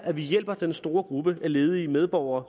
at vi hjælper den store gruppe ledige medborgere